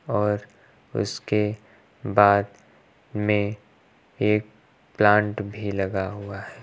और उसके बाद में एक प्लांट भी लगा हुआ है।